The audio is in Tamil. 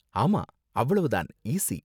ஆமா, அவ்வளவு தான், ஈஸி.